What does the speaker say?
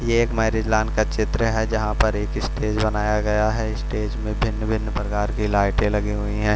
एक marriage lawn का चित्र है जहां पर एक स्टेज बनाया गया है। स्टेज में भिन्न-भिन्न प्रकार की लाइटें लगी हुई हैं।